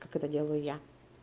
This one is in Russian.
как это делаю я